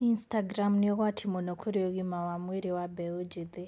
Instagram ni ugwati mũno kũrĩ ũgima wa mwiri wa mbeũ njithi